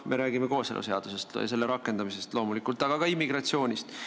Ma räägin loomulikult kooseluseaduse rakendamisest, aga ka immigratsioonist.